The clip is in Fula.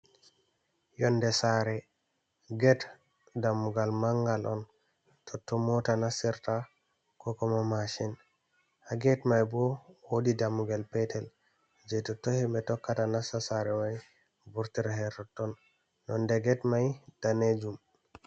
Yonde saare get dammugal mangal on totto moata nastirta kokuma mashin ha get mai bo wodi dammugel petel je totton himɓe tokkata nasta saare mai vurta totton nonde get mai danejum.